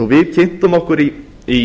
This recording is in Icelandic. við kynntum okkur í